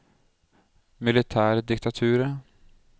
militærdiktaturet